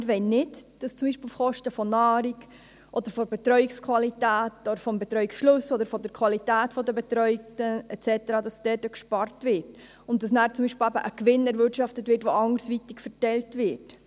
Wir wollen nicht, dass zum Beispiel auf Kosten von Nahrung oder Betreuungsqualität, auf Kosten des Betreuungsschlüssels oder der Qualität der Betreuten und so weiter gespart wird oder eine Gewinnerwirtschaftung anderweitig verteilt wird.